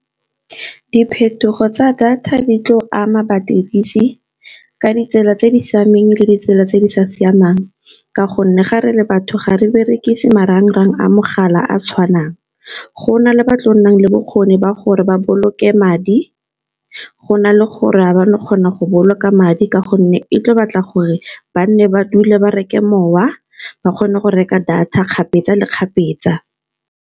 Diphetogo tsa data di tlo ama badirisi ka ditsela tse di siameng le ditsela tse di sa siamang, ka gonne ga re le batho gare berekise marangrang a mogala a tshwanang. Go na le ba tlo nnang le bokgoni ba gore ba boloke madi go na le gore ga ba ne ba kgona go boloka madi ka gonne e tla batla gore ba nne ba dule ba reke mowa ba kgone go reka data kgapetsa le kgapetsa.